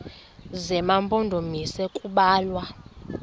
zema mpondomise kubalwa